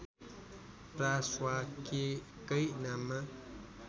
प्रा स्वा के कै नाममा